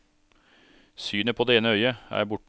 Synet på det ene øyet er borte.